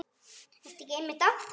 Ertu ekki einmitt að því?